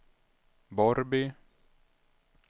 Borrby